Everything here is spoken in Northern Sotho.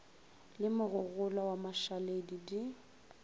le mogogolwa wa mašaledi di